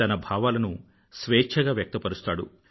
తన భావాలను స్వేచ్ఛగా వ్యక్తపరుస్తాడు